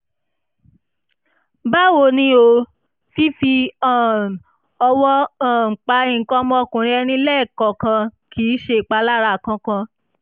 báwo ni o? fífi um ọwọ́ um pa nǹkan ọmọkùnrin ẹni lẹ́ẹ̀kọ̀ọ̀kan kì í ṣèpalára kankan